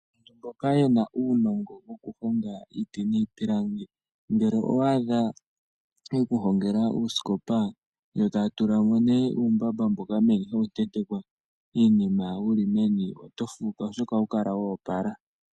Mboka yena uunongo wo kuhonga iiti niipilangi ngele owadha ye kuhongela uusikopa yo taya tula mo nee umbamba mboka hawu tentekwa iinima wuli meni otofuka oshoka ohawu kala wopala.